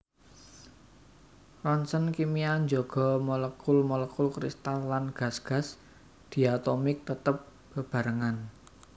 Roncèn kimia njaga molekul molekul kristal lan gas gas diatomik tetep bebarengan